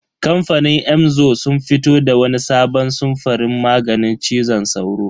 Kamfanin Emzor sun fito da wani sabon samfurin maganin cizon sauro.